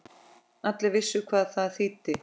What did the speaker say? Allir vissu hvað það þýddi.